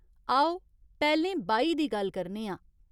आओ, पैह्‌लें बाही दी गल्ल करने आं।